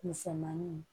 Misɛnmanin